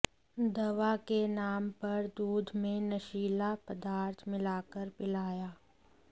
दवा के नाम पर दूध में नशीला पदार्थ मिलाकर पिलाया